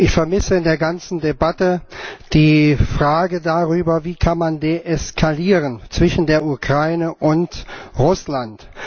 Ich vermisse in der ganzen Debatte die Frage darüber Wie kann man deeskalieren zwischen der Ukraine und Russland?